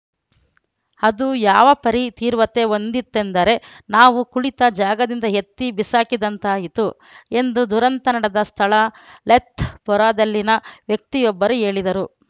ಅದು ಯಾವ ಪರಿ ತೀವ್ರತೆ ಹೊಂದಿತ್ತೆಂದರೆ ನಾವು ಕುಳಿತ ಜಾಗದಿಂದ ಎತ್ತಿ ಬಿಸಾಕಿದಂತಾಯಿತು ಎಂದು ದುರಂತ ನಡೆದ ಸ್ಥಳ ಲೆಥ್‌ಪೋರಾದಲ್ಲಿನ ವ್ಯಕ್ತಿಯೊಬ್ಬರು ಹೇಳಿದರು